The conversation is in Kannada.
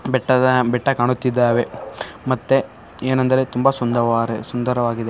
ಬೆಟ್ಟದಾ ಬೆಟ್ಟ ಕಾಣುತ್ತಿದ್ದಾವೆ ಮತ್ತೆ ಏನೆಂದರೆ ತುಂಬಾ ಸುಂದವಾರೆ ಸುಂದರವಾಗಿದೆ.